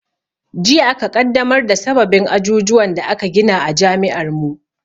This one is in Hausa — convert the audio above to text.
Jiya aka ƙaddamar da sababin ajujuwan da aka gina a jami'ar mu